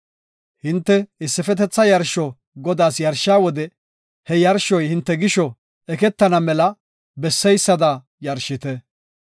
“Hinte issifetetha yarsho Godaas yarshiya wode he yarshoy hinte gisho eketana mela besseysada yarshite.